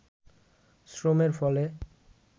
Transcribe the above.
শ্রমের ফলে